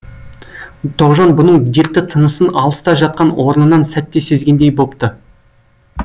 тоғжан бұның дертті тынысын алыста жатқан орнынан сәтте сезгендей бопты